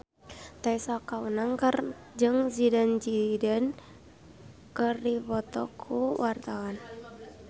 Tessa Kaunang jeung Zidane Zidane keur dipoto ku wartawan